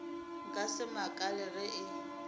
nka se makale ge e